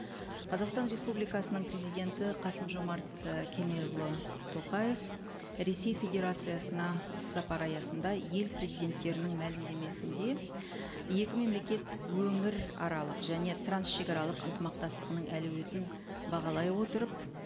қазақстан республикасының президенті қасым жомарт і кемелұлы тоқаев ресей федерациясына іс сапар аясында ел президенттерінің мәлімдемесінде екі мемлекет өңіраралық және трансшегаралық ынтымақтастығының әлеуетін бағалай отырып